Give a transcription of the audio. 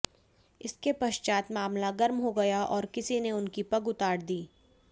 इसके पश्चात मामला गर्म हो गया और किसी ने उनकी पग उतार दी